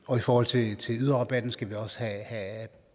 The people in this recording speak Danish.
og i forhold til yderrabatten skal det også